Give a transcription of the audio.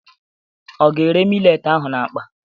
Ọ ga-ere milet ahụ n'akpa?